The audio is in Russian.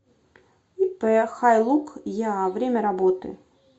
ип хайлук еа время работы